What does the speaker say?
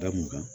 Da mun kan